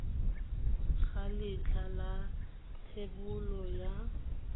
ga letlha la thebolo ya